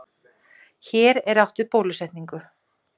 Hér er átt við bólusetningu.